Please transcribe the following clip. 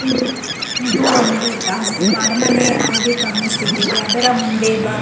ಇದು ಇದು ಒಂದು ತಾಜ್ ಅರಮನೆ ಹಾಗೆ ಕಾಣಿಸುತ್ತಿದೆ ಅದರ ಮುನೇ ಬ-- .